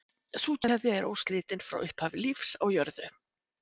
Sú keðja er óslitin frá upphafi lífs á jörðu.